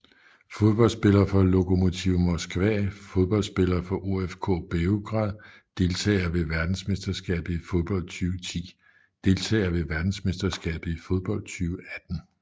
Fodboldspillere fra Lokomotiv Moskva Fodboldspillere fra OFK Beograd Deltagere ved verdensmesterskabet i fodbold 2010 Deltagere ved verdensmesterskabet i fodbold 2018